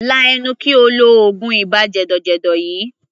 Lá ẹnu kí o lo oògùn ibà jẹ̀dọ̀jẹ̀dọ̀ yìí!